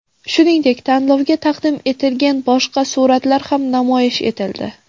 Shuningdek, tanlovga taqdim etilgan boshqa suratlar ham namoyish etildi.